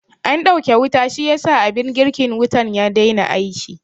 An ɗauke wuta shiyasa abin girkin wutan ya dai na aiki